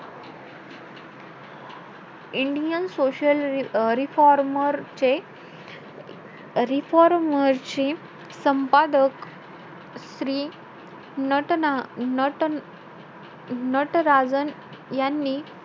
Indian social अं रिफॉर्मरचे~ रिफॉर्मरचे संपादक श्री नटना~ नट नटराजन यानी,